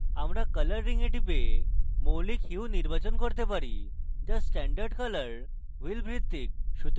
আমরা color রিঙে টিপে মৌলিক hue নির্বাচন করতে পারি যা standard color wheel ভিত্তিক